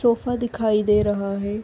Sofa दिखाई दे रहा है ।